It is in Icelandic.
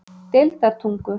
Deildartungu